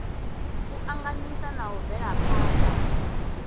u anganyisa na u bvelaphana